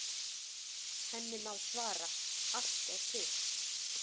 Henni má svara: Allt er til.